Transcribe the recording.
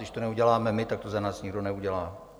Když to neuděláme my, tak to za nás nikdo neudělá.